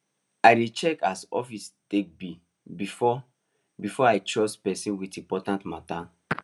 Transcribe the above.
i dey check as office take be before before i trust person with important matter